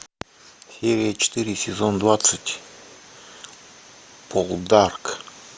серия четыре сезон двадцать полдарк